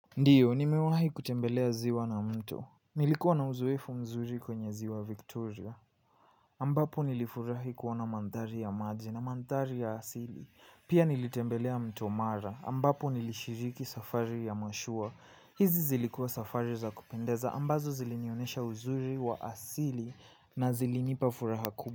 Ndiyo, nimewahi kutembelea ziwa na mto nilikuwa na uzoefu mzuri kwenye ziwa Victoria. Ambapo nilifurahi kuona mandhari ya maji na mandhari ya asili pia nilitembelea mto mara, ambapo nilishiriki safari ya mashua hizi zilikua safari za kupendeza, ambazo zilinionyesha uzuri wa asili na zilinipa furaha kuu.